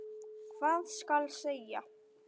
Hvað skal segja?